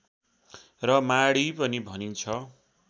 र माढी पनि भनिन्छ